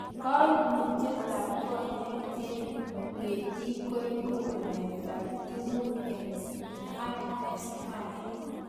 koimutietab konyek en ng'etik koibu waletab tekutik en RS1